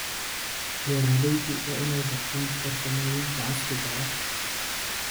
Beeraleydu waa inay bartaan farsamooyinka casriga ah.